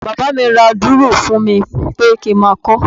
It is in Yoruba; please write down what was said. Bàbá mi ra dùrù fún mi pé kí n máa kọ́ ọ.